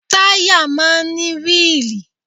Táyà máa ń ní wíìlì